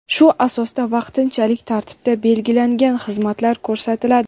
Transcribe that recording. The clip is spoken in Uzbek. shu asosda vaqtinchalik tartibda belgilangan xizmatlar ko‘rsatiladi.